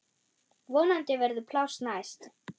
Vonandi verður pláss næst.